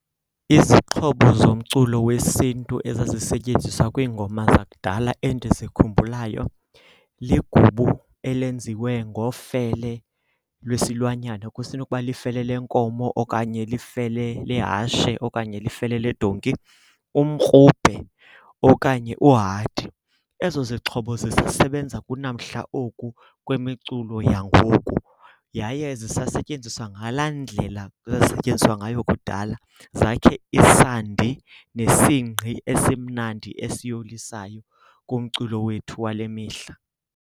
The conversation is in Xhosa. Izixhobo zomculo wesiNtu ezazisentyenziswa kwiingoma zakudala endizikhumbulayo, ligubu elenziwe ngofele lwesilwanyana, kusenokuba lifele lenkomo okanye lifele lehashe okanye lifele ledonki. Umkrubhe okanye uhadi. Ezo zixhobo zisasebenza kunamhla oku kwimiculo yangoku yaye zisasetyenziswa ngalaa ndlela zazisetyenziswa ngayo kudala zakhe isandi nesingqi esimnandi esiyolisayo kumculo wethu wale mihla.